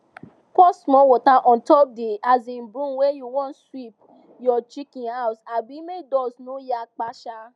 pour small water untop the um broom when u wan sweep your chicken house um make dust no yakpa um